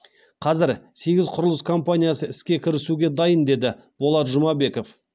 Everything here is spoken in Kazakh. қазір сегіз құрылыс компаниясы іске кірісуге дайын деді болат жұмабеков